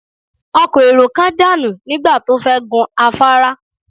Ọkọ̀ èrò kan dànù nígbà tó fẹ́ gun afárá